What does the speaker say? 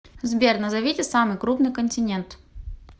сбер назовите самый крупный континент